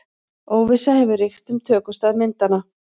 Óvissa hefur ríkt um tökustað myndanna